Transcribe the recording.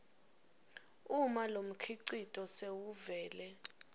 uma lomkhicito sewuvele